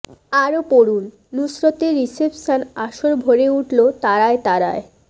আরও পড়ুনঃ নুসরতের রিসেপশন আসর ভরে উঠল তারায় তারায়